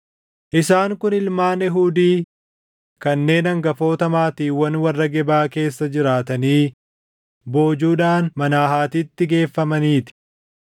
Isaan kun ilmaan Eehuudii kanneen hangafoota maatiiwwan warra Gebaa keessa jiraatanii boojuudhaan Maanahatitti geeffamaniiti: